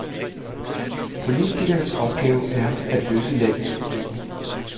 Politikernes opgave er at løse landets problemer.